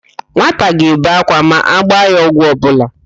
Nwata ga-ebe ákwá ma agba ya ọgwụ ọbụla.